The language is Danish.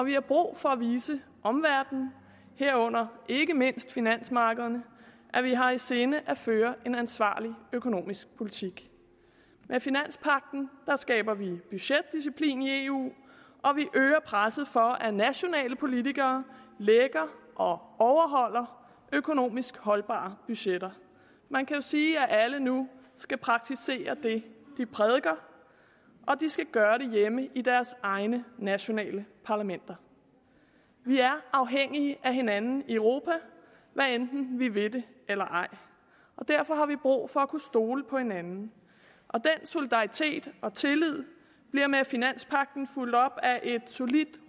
vi har brug for at vise omverdenen herunder ikke mindst finansmarkederne at vi har i sinde at føre en ansvarlig økonomisk politik med finanspagten skaber vi budgetdisciplin i eu og vi øger presset for at nationale politikere lægger og overholder økonomisk holdbare budgetter man kan jo sige at alle nu skal praktisere det de prædiker og de skal gøre det hjemme i deres egne nationale parlamenter vi er afhængige af hinanden i europa hvad enten vi vil det eller ej derfor har vi brug for at kunne stole på hinanden den solidaritet og tillid bliver med finanspagten fulgt op af et solidt